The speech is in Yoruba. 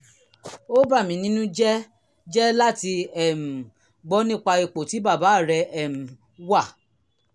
ó bà mí nínú jẹ́ jẹ́ láti um gbọ́ nípa ipò tí bàbá rẹ um wà